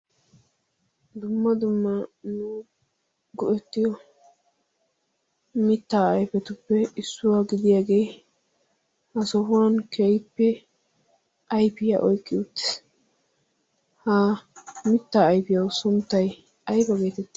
dumma dumma nuggu ettiyo mittaa ayfetuppe issuwaa gidiyaagee ha sohuwan keippe aifiyaa oyqqi uttis. ha mittaa ayfiyawu sunttai ayba geeteti?